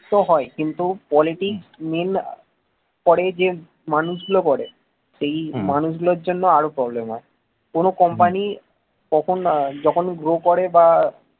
তো হয় কিন্তু politics main করে যে মানুষগুলো করে সেই মানুষগুলোর জন্য আরো problem হয়। কোন company কখন যখন grow করে বা